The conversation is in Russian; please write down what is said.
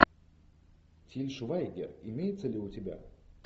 тиль швайгер имеется ли у тебя